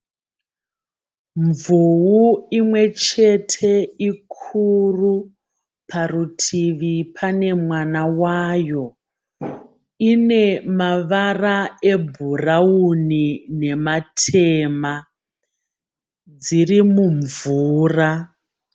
Mvuu imwechete ikuru parutivi pane mwana wayo, ine mavara ebhurauni nematema, dziri mumvura.